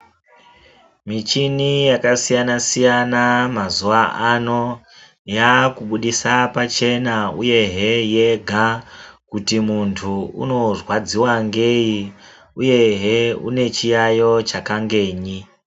Michini yakasiyana siyana mazuwa ano, yaa kubudisa pachena uyehe yega kuti muntu uno rwadziwa ngeyi uyehe une chiyayiyo chakangeyi.